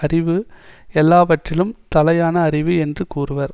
அறிவு எல்லாவற்றிலும் தலையான அறிவு என்று கூறுவர்